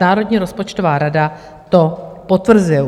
Národní rozpočtová rada to potvrzuje.